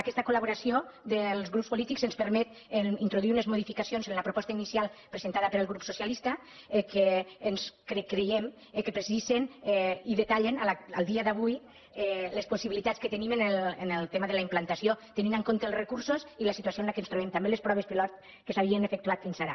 aquesta col·laboració dels grups polítics ens permet introduir unes modificacions en la proposta inicial presentada pel grup socialista que creiem que precisen i detallen al dia d’avui les possibilitats que tenim en el tema de la implantació tenint en compte els recursos i la situació en què ens trobem també les proves pilot que s’havien efectuat fins ara